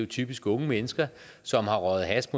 typisk unge mennesker som har røget hash